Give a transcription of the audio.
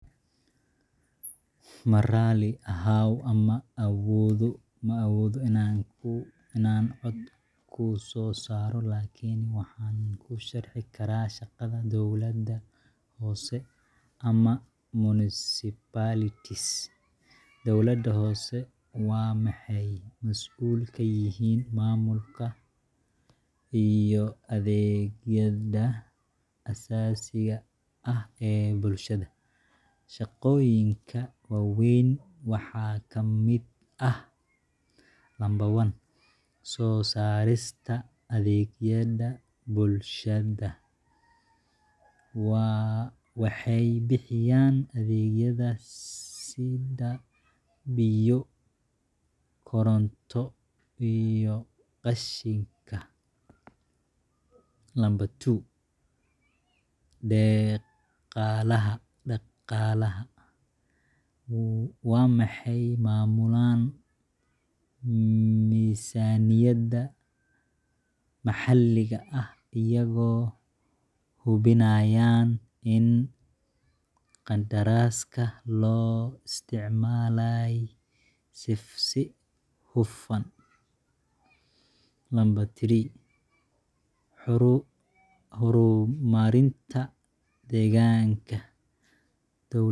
Ma raalli ahow, ma awoodo inaan cod ku soo saaro. Laakiin waxaan kuu sharxi karaa shaqada dawladaha hoose ama municipalities Dawladaha hoose waxay mas'uul ka yihiin maamulka iyo adeegyada aasaasiga ah ee bulshada. Shaqooyinka waaweyn waxaa ka mid ah: 1.Soo saarista adeegyada bulshadaWaxay bixiyaan adeegyada sida biyo, koronto, iyo qashinka. 2.Dhaqaalaha Waxay maamulaan miisaaniyada maxalliga ah, iyagoo hubinaya in kharashaadka loo isticmaalay si hufan. 3.Horumarinta deegaanka